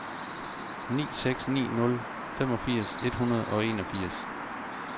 ni seks ni nul femogfirs et hundrede og enogfirs